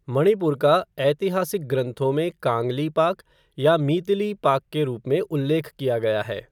मणिपुर का ऐतिहासिक ग्रंथों में कांगलीपाक या मीतिलीपाक के रूप में उल्लेख किया गया है।